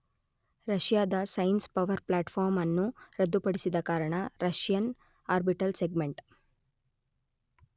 ರಷ್ಯಾದ science power platform ಅನ್ನು ರದ್ದುಪಡಿಸಿದ ಕಾರಣ ರಷ್ಯನ್ ಆರ್ಬಿಟಲ್ ಸೆಗ್ಮೆಂಟ್